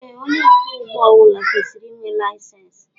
Ee onye ọkwọ ụgbọ ọbula kwesịrị ịnwe layisensi